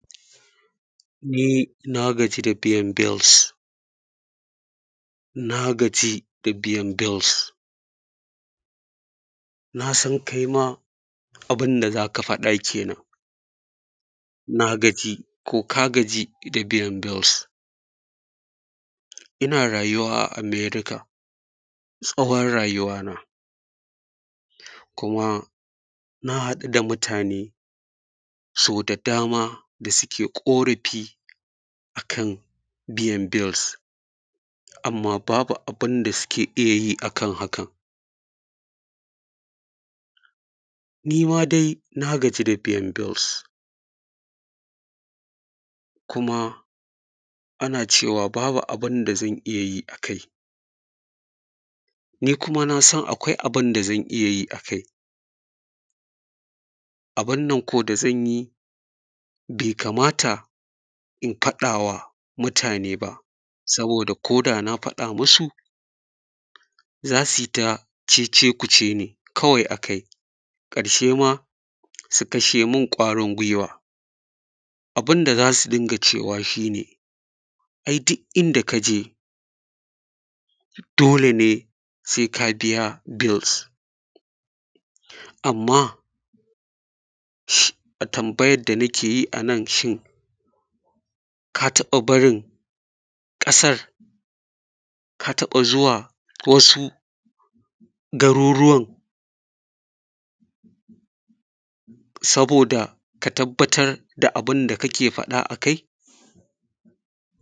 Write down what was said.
Ni nagaji da biyan bills. Nagaji da biyan bills. Na san kai ma abun da zaka faɗa kenan. Na gaji ko ka gaji da biyan bills. Ina rayuwa a Amerika tsawon rayuwa na. Kuma na haɗu da mutane so da dama. Da suke ƙorafi akan biyan bills. Amma babu abinda suke iyayi akan hakan. Nima de na gagi da biyan bills. Kuma ana cewa babu abunda zan iyayi akai. Ni kuma nasan akwai abun da zan iyayi a kai. Abun nan ko da zanyi be ka mata in faɗawa muta ne ba. Saboda ko da na faɗa musu. Zasu yi ta cece kuce ne kawai akai. Ƙarshe ma su kashe mun ƙwarin guiwa. Abun da zasu dinga cewa shine. Ai duk inda kaje dole ne sai ka biya bills. Amma shi tambayan dana ke yi anan shin. Ka taba barin ƙasar. Ka taɓa zuwa wasu garuruwan. Saboda ka tabbatar da abun da kake faɗa akai.